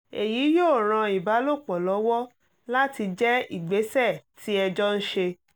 èyí yóò ran ìbálòpọ̀ lọ́wọ́ láti jẹ́ ìgbésẹ̀ tí ẹ jọ ń ṣe